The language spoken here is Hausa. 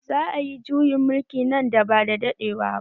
Za a yi juyin mulki nan ba da daɗewa ba